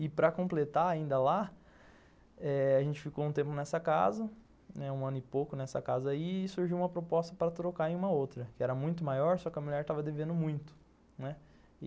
E para completar ainda lá, eh... a gente ficou um tempo nessa casa, um ano e pouco nessa casa aí, e surgiu uma proposta para trocar em uma outra, que era muito maior, só que a mulher estava devendo muito, né.